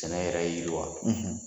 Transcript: Sɛnɛ yɛrɛ yiriwa